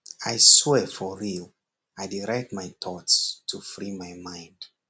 i swear for real i dey write my thoughts to free my mind